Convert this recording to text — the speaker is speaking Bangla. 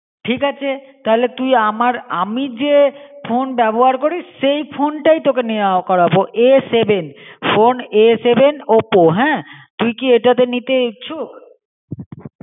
ঠিক আছে তাহলে তুই আমার আমি যে ফোন ব্যবহার করিস সেই ফোন তাই তোকে নেওয়া করাবো A seven phone A sevenoppo হ্যাঁ. তুই কী এটা তে নিতে ইচ্ছুক?